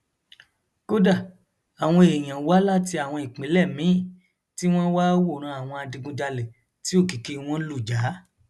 kódà àwọn èèyàn wá láti àwọn ìpínlẹ míín tí wọn wáá wòran àwọn adigunjalè tí òkìkí wọn ĺù já